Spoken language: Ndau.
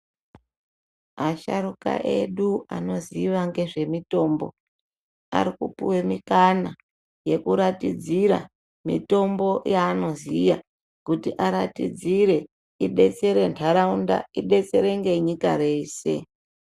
Asharuka edu anoziva ngezvemitombo ari kupiwe mikana yekuratidzira mitombo yaanoziya kuti aratidzire idetsere ntaraunda idetsere ngenyika yese.